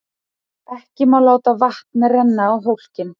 Ekki má láta vatn renna á hólkinn.